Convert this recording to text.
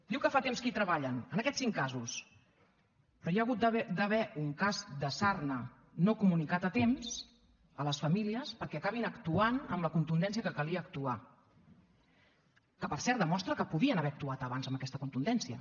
diu que fa temps que hi treballen en aquests cinc casos però hi ha hagut d’haver un cas de sarna no comunicat a temps a les famílies perquè acabin actuant amb la contundència que calia actuar que per cert demostra que podien haver actuat abans amb aquesta contundència